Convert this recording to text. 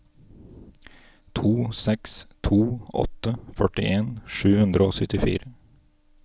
to seks to åtte førtien sju hundre og syttifire